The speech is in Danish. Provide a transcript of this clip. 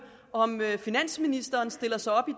om finansministeren stiller sig op i